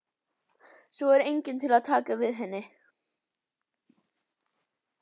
Svo er enginn til að taka við henni.